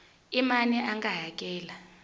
i mani a nga hakela